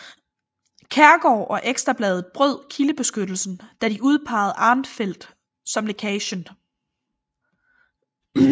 Kjærgaard og Ekstra Bladet brød kildebeskyttelsen da de udpejede Arnfeldt som lækagen